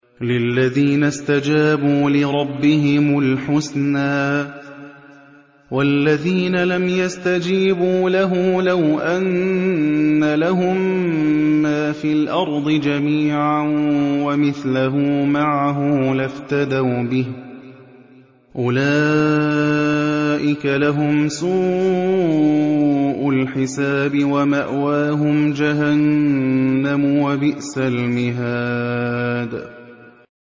لِلَّذِينَ اسْتَجَابُوا لِرَبِّهِمُ الْحُسْنَىٰ ۚ وَالَّذِينَ لَمْ يَسْتَجِيبُوا لَهُ لَوْ أَنَّ لَهُم مَّا فِي الْأَرْضِ جَمِيعًا وَمِثْلَهُ مَعَهُ لَافْتَدَوْا بِهِ ۚ أُولَٰئِكَ لَهُمْ سُوءُ الْحِسَابِ وَمَأْوَاهُمْ جَهَنَّمُ ۖ وَبِئْسَ الْمِهَادُ